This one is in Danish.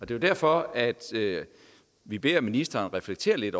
det er derfor at vi beder ministeren reflektere lidt